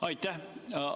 Aitäh!